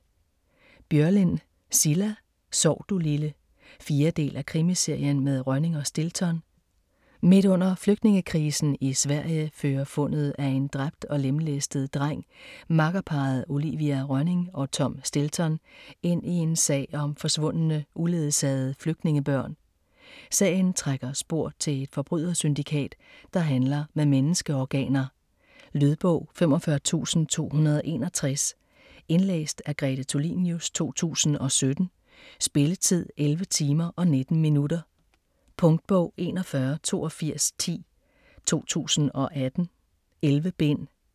Börjlind, Cilla: Sov du lille 4. del af Krimiserien med Rönning og Stilton. Midt under flygtningekrisen i Sverige fører fundet af en dræbt og lemlæstet dreng makkerparret Olivia Rönning og Tom Stilton ind i en sag om forsvundne, uledsagede flygtningebørn. Sagen trækker spor til et forbrydersyndikat, der handler med menneskeorganer. Lydbog 45261 Indlæst af Grete Tulinius, 2017. Spilletid: 11 timer, 19 minutter. Punktbog 418210 2018. 11 bind.